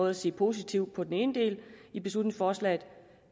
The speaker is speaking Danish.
at se positivt på den ene del af beslutningsforslaget